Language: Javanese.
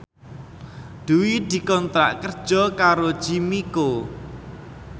Dwi dikontrak kerja karo Jimmy Coo